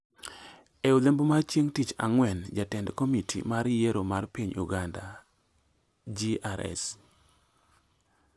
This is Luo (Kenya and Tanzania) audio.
E odhiambo mar chieng’ tich ang’wen, jatend komiti mar yiero mag piny Uganda- GRS ,